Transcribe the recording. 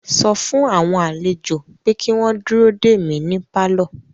Sọ fún àwọn àlejò pé kí wọ́n dúró dè mí ní pálọ̀